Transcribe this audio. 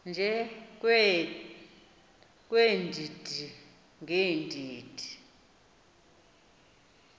nje weendidi ngeendidi